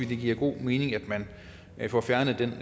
det giver god mening at man får fjernet den